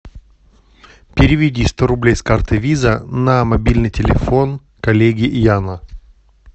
переведи сто рублей с карты виза на мобильный телефон коллеги яна